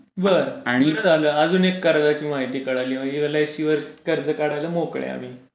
बरं हि बरं झाली अजून एक महती मिळाली हि एल इ सि वर कर्ज काढायला मोकळे आम्ही.